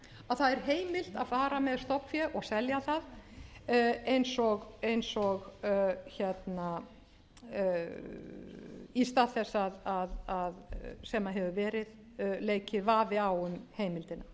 að það er heimilt að fara með stofnfé og selja það í stað þess sem hefur verið leikið vafi á um heimildina með